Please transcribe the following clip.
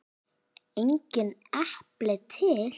Engin epli til!